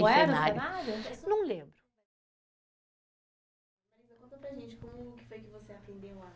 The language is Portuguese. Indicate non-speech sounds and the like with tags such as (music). (unintelligible) o cenário, não lembro. Conta para a gente como que foi que você aprendeu lá